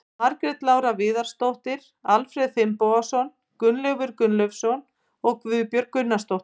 Margrét Lára Viðarsdóttir, Alfreð Finnbogason, Gunnleifur Gunnleifsson og Guðbjörg Gunnarsdóttir.